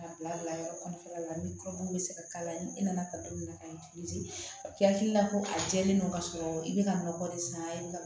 K'a bila bila yɔrɔ kɔfɛla la ni kɔdimi bɛ se ka k'a la ni nana ka don min na ka hakilila ko a jɛlen don ka sɔrɔ i bɛ ka nɔgɔ de san i bɛ ka